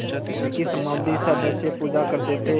देवी की समाधिसदृश पूजा करते थे